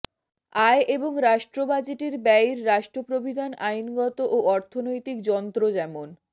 আয় এবং রাষ্ট্র বাজেটের ব্যয়ের রাষ্ট্র প্রবিধান আইনগত ও অর্থনৈতিক যন্ত্র যেমন